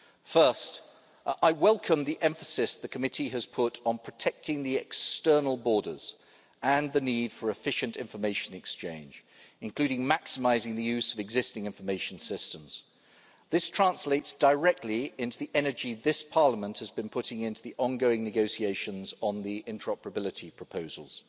First, I welcome the emphasis the committee has put on protecting the external borders and the need for efficient information exchange, including maximising the use of existing information systems. This translates directly into the energy this Parliament has been putting into the ongoing negotiations on the interoperability proposals.